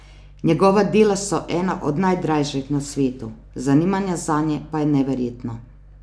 Njegova dela so ena od najdražjih na svetu, zanimanje zanje pa je neverjetno.